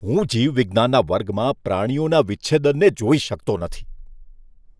હું જીવવિજ્ઞાનના વર્ગમાં પ્રાણીઓના વિચ્છેદનને જોઈ શકતો નથી.